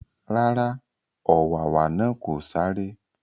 Rárá, ọ̀wàwà náà kò sáré